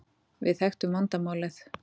Við þekktum vandamálið.